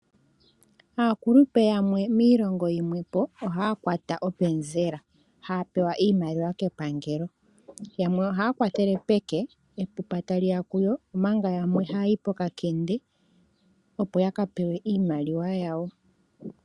Aakulupe yamwe miilongo yimwe po ohaya kwata openzela, haya pewa iimaliwa ke pangelo. Yamwe ohaya kwa tele peke, epupa ta liya kuyo, omanga yamwe oha yayi po kakende opo ya ka pewe iimaliwa yawo.